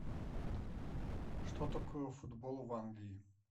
что такое футбол в англии